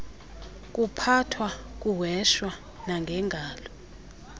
kuphathwa kuheshwa nangengalo